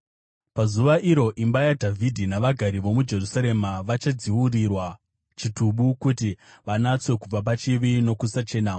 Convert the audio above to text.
“Pazuva iro imba yaDhavhidhi navagari vomuJerusarema, vachadziurirwa chitubu kuti vanatswe kubva pachivi nokusachena.